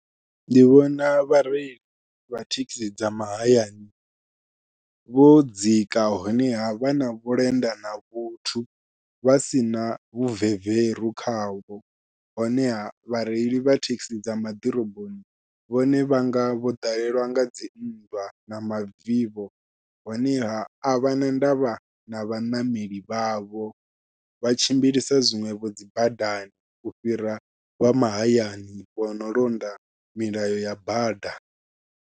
Ndi vhona vhareili vha thekhisi dza mahayani vho dzika honeha vha na vhulenda na vhuthu vha sina vhu veveru khavho, honeha vhareili vha thekhisi dza maḓiroboni vhone vhanga vho ḓalelwa nga dzi nndwa na mavivho honeha a vha na ndavha na vhaṋameli vhavho vha tshimbilisa zwiṅwevho dzi badani u fhira vha mahayani vha no londa milayo ya bada.